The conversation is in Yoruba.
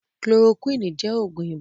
Kulorokúwínì jẹ́ Ògùn ibà